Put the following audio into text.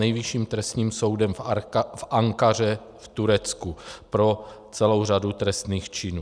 Nejvyšším trestním soudem v Ankaře v Turecku pro celou řadu trestných činů.